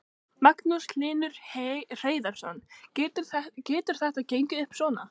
Magnús Hlynur Hreiðarsson: Getur þetta gengið upp svona?